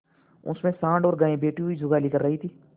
उनमें सॉँड़ और गायें बैठी हुई जुगाली कर रही थी